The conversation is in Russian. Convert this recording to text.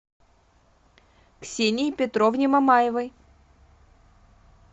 ксении петровне мамаевой